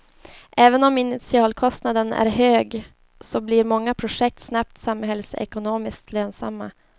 Även om initialkostnaden är hög så blir många projekt snabbt samhällsekonomiskt lönsamma.